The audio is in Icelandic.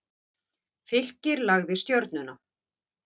Fylkir lagði Stjörnuna